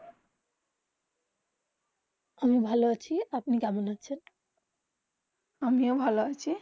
আমি ভালো আছি আপনি কেমন আছেন আমিও ভালো আছি